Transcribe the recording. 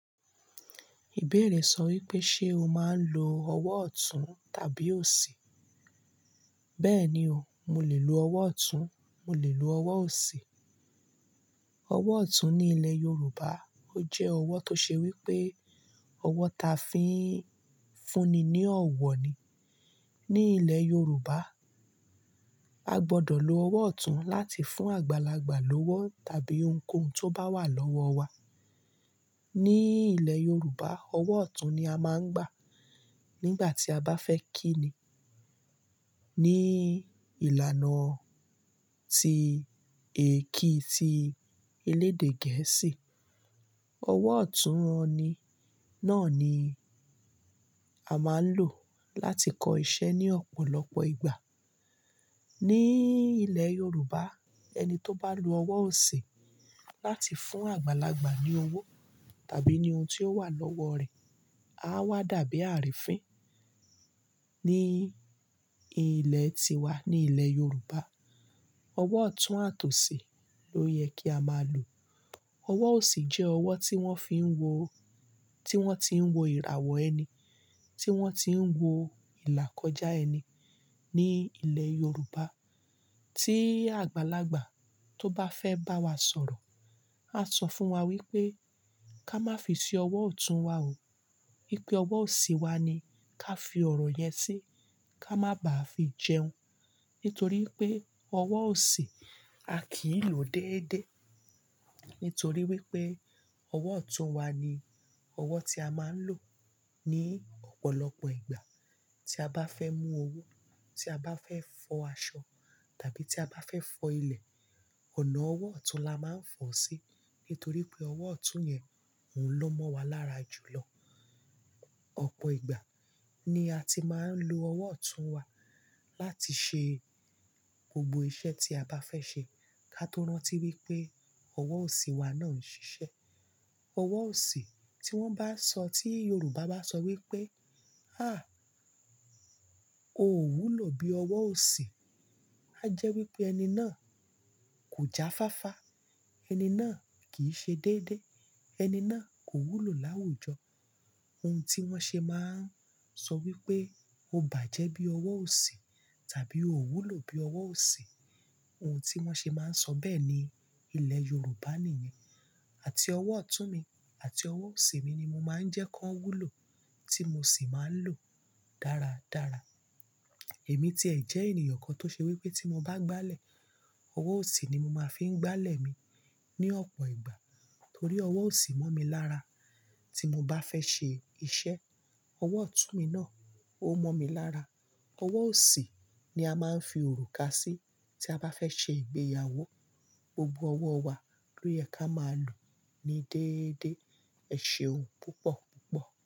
Ìbéèrè sọ wípé ṣe o máa ń lo ọwọ́ ọ̀tún tàbí òsì? Bẹ́ẹ̀ni o, mo lè lo ọwọ́ ọ̀tún, mo lè lo ọwọ́ òsì. Ọwọ́ ọ̀tún ní ilẹ̀ Yorùbá, ó jẹ́ ọwọ́ tó ṣe wípé ọwọ́ ta fi ń fúnni ní ọ̀wọ̀ ni. Ní ilẹ̀ Yorùbá, a gbọdọ̀ lo ọwọ́ ọ̀tún láti fún àgbàlagbà lówó tàbí ohunkóhun tó bá wà lọ́wọ́ wa. Ní ilẹ̀ Yorùbá, ọwọ́ ọ̀tún ni a máa ń gbà nígbà tí a bá fẹ́ kíni. Ní ìlànà tí èki ti elédè gẹ̀ẹ́sì, ọwọ́ ọ̀tún wọ́n ni náà ni a máa ń lò láti kọ iṣẹ́ ní ọ̀pọ̀lọpọ̀ ìgbà. Ní ilẹ̀ Yorùbá ẹni tó bá lo ọwọ́ òsì láti fún àgbàlagbà ní owó tàbí ní ohun tó wà lọ́wọ́ rẹ̀, a wà dàbí àárín fín. Ní ilẹ̀ tiwa, ní ilẹ̀ Yorùbá, ọwọ́ ọ̀tún àtòsi ló yẹ kí a máa lò. Ọwọ́ òsì jẹ́ ọwọ́ tí wọ́n ti ń wo ìràwọ̀ ẹni, tí wọ́n ti ń wo ìlà kọjá ẹni. Ní ilẹ̀ Yorùbá tí àgbàlagbà tó bá fẹ́ bá wa sọ̀rọ̀, a sọ fún wa wípé ká má fi sí ọwọ́ ọ̀tún wa o, wípé ọwọ́ òsì wa ni ká fi ọ̀rọ̀ yẹn sí, ká má bàá fi jẹun. Nítorí pé ọwọ́ òsì a kì í lò déédéé. Nítorí wípé ọwọ́ ọ̀tún wa ni ọwọ́ tí a máa ń lò ní ọ̀pọ̀lọpọ̀ ìgbà tí a bá fẹ́ mú owó, tí a bá fẹ́ fọ aṣọ tàbí tí a bá fẹ́ fọ ilẹ̀, ọ̀nà ọwọ́ ọ̀tún la máa ń fọ̀ sí, nítorí pé ọwọ́ ọ̀tún yẹn òun ló mọ́ wa lára jù lọ. Ọ̀pọ̀ ìgbà ni a ti máa ń lo ọwọ́ ọ̀tún wa láti ṣe gbogbo iṣẹ́ tí a bá fẹ́ ṣe. Ká tó rántí wípé ọwọ́ òsì wa náà ń ṣiṣẹ́. Ọwọ́ òsì tí wọ́n bá sọ, tí Yorùbá bá sọ wípé, "háà, o ò wúlò bí ọwọ́ òsì", a jẹ́ wípé ẹni náà kò jáfáfá, ẹni náà kìí ṣe déédéé, ẹni náà kò wúlò láwùjọ. Ohun tí wọ́n ṣe máa ń sọ wípé, "o bàjẹ́ bí ọwọ́ òsì" tàbí "o ò wúlò bí ọwọ́ òsì", ohun tí wọ́n ṣe máa ń sọ bẹ́ẹ̀ ní ilẹ̀ Yorùbá nìyẹn. Àti ọwọ́ ọ̀tún mi àti ọwọ́ òsì mi ni mo máa ń jẹ́ kí wọ́n wúlò tí mo sì máa ń lò dáradára. Èmi ti ẹ̀ jẹ́ ènìyàn kan tó ṣe wípé tí mo bá gbálẹ̀, ọwọ́ òsì ni mo máa ń fi ń gbálẹ̀ mi ní ọ̀pọ̀ ìgbà torí ọwọ́ òsì mọ̀ mi lára. Tí mo bá fẹ́ ṣe iṣẹ́, ọwọ́ ọ̀tún mi náà ó mọ̀ mi lára. Ọwọ́ òsì ni a máa ń fi òrùka sí tí a bá fẹ́ ṣe ìgbéyàwó. Gbogbo ọwọ́ wa ló yẹ ká máa lò ní déédéé. Ẹ ṣeun púpọ̀púpọ̀.